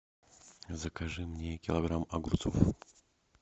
закажи мне килограмм огурцов